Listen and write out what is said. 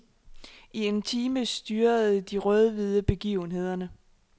I en time styrede de rødhvide begivenhederne.